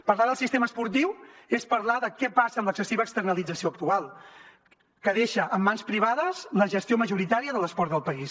parlar del sistema esportiu és parlar de què passa amb l’excessiva externalització actual que deixa en mans privades la gestió majoritària de l’esport del país